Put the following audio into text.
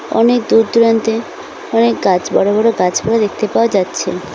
অনেক দূর দূরান্তে অনেক গাছ বড় বড় গাছ গুলো দেখতে পাওয়া যাচ্ছে।